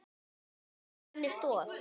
Trú var henni stoð.